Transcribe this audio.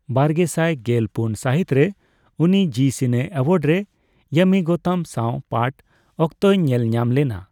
ᱵᱟᱨᱜᱮᱥᱟᱭ ᱜᱮᱞ ᱯᱩᱱ ᱥᱟᱦᱤᱛ ᱨᱮ, ᱩᱱᱤ ᱡᱤ ᱥᱤᱱᱮ ᱟᱣᱟᱨᱰ ᱨᱮ ᱤᱭᱟᱢᱤ ᱜᱳᱣᱛᱚᱢ ᱥᱟᱣ ᱯᱟᱴ ᱚᱠᱛᱚᱭ ᱧᱮᱞ ᱧᱟᱢ ᱞᱮᱱᱟ ᱾